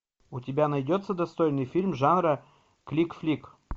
у тебя найдется достойный фильм жанра клик флик